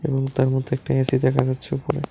রুমটার মধ্যে একটি এ_সি দেখা যাচ্ছে উপরে।